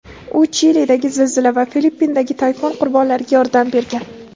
U Chilidagi zilzila va Filippindagi tayfun qurbonlariga yordam bergan.